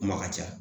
Kuma ka ca